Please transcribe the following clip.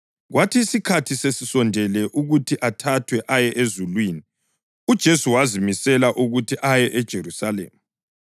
Kwathi isikhathi sesisondele ukuthi athathwe aye ezulwini, uJesu wazimisela ukuthi aye eJerusalema.